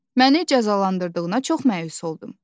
Məni cəzalandırdığına çox məyus oldum.